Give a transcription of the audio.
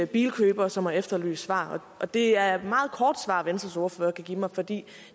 bilkøbere som har efterlyst svar og det er et meget kort svar venstres ordfører kan give mig for det